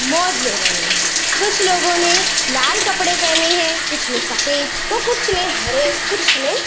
मौज ले रहे हैं कुछ लोगो ने लाल कपड़े पहने हैं कुछ ने सफेद तो कुछ ने हरे कुछ ने --